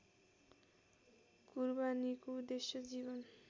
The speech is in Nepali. कुरबानीको उद्देश्य जीवन